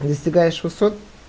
достигаешь высот